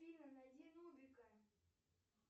афина найди нубика